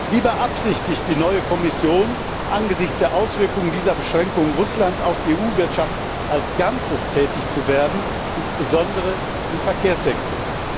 Wie beabsichtigt die neue Kommission angesichts der Auswirkungen dieser Beschränkungen Russlands auf die EU Wirtschaft als Ganzes tätig zu werden, insbesondere im Verkehrssektor?